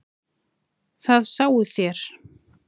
Það sáuð þér.